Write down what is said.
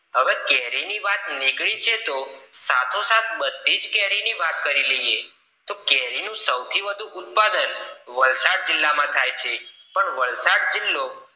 હવે કેરી ને વાત નીકળે છે સાથો સાથ બધી જ કેરી ની વાત કરી લઈએ તો કેરી નું સૌથી વધૂ ઉત્પાદન વલસાડ જિલ્લા માં થાય છે પણ વલસાડ જિલ્લો